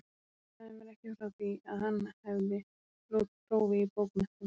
Þú sagðir mér ekki frá því, að hann hefði lokið prófi í bókmenntum